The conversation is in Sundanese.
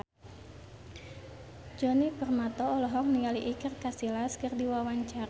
Djoni Permato olohok ningali Iker Casillas keur diwawancara